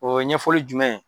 O ye ɲɛfɔli jumɛn